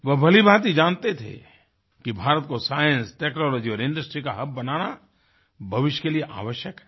वे भलीभांति जानते थे कि भारत को साइंस टेक्नोलॉजी और इंडस्ट्री का हब बनाना भविष्य के लिए आवश्यक है